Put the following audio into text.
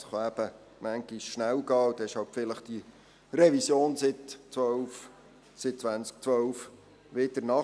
Es kann eben manchmal schnell gehen, und dann ist halt vielleicht eine Revision seit 2012 wieder notwendig.